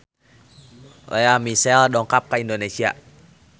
Lea Michele dongkap ka Indonesia